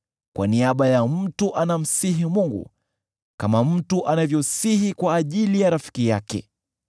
kwa niaba ya mtu anamsihi Mungu kama mtu anavyosihi kwa ajili ya rafiki yake.